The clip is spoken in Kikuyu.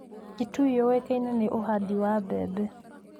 Kitui yũĩkaine nĩ ũhandi wa maembe.